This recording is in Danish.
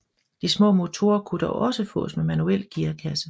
De små motorer kunne dog også fås med manuel gearkasse